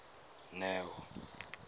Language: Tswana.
neo